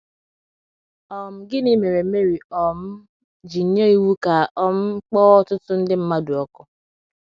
um Gịnị mere Mary um ji nye iwu ka a um kpọọ ọtụtụ ndị mmadụ ọkụ?